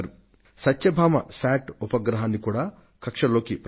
వారి సత్యభామ శాట్ ఉపగ్రహాన్ని కూడా ప్రయోగించడమైంది